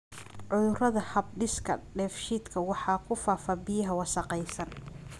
Cudurada hab-dhiska dheefshiidka waxa ku faafa biyaha wasakhaysan.